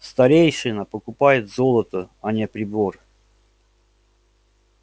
старейшина покупает золото а не прибор